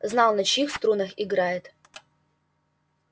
знал на чьих струнах играет